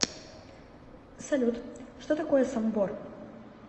салют что такое самбор